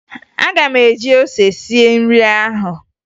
Aga m eji ose sie nri ahụ